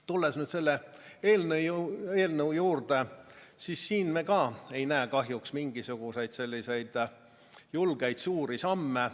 Tulles nüüd selle eelnõu juurde, me ei näe kahjuks ka siin mingisuguseid julgeid suuri samme.